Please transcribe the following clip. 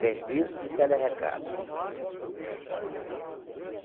Serviço de tele recado.